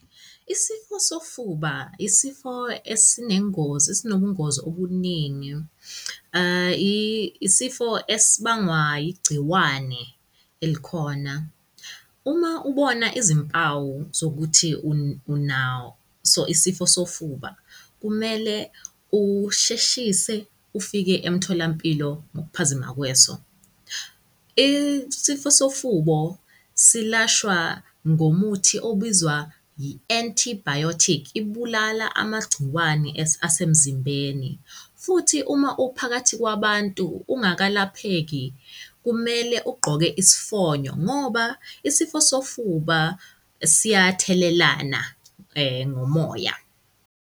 Isifo sofuba, isifo esinengozi, esinobungozi obuningi. Isifo esibangwa igciwane elikhona. Uma ubona izimpawu zokuthi unaso isifo sofuba kumele usheshise ufike emtholampilo ngokuphazima kweso. Isifo sofubo silashwa ngomuthi obizwa yi-antibiotic, ibulala amagciwane asemzimbeni. Futhi uma uphakathi kwabantu ungakalapheki kumele ugqoke isifonyo ngoba isifo sofuba siyathelelana, ngomoya.